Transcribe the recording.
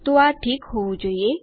તો આ ઠીક હોવું જોઈએ